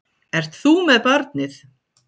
Ert þú með barnið?